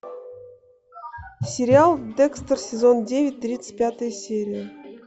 сериал декстер сезон девять тридцать пятая серия